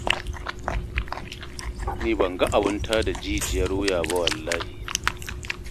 Ni ban ga abin ta da jijiyar wuya ba wallahi.